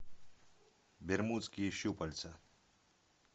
бермудские щупальца